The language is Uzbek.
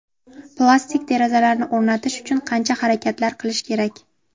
Plastik derazalarni o‘rnatish uchun qancha harakatlar qilish kerak?